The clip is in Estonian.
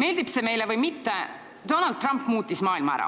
Meeldib see meile või mitte, Donald Trump muutis maailma ära,